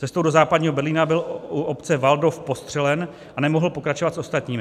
Cestou do Západního Berlína byl u obce Waldow postřelen a nemohl pokračovat s ostatními.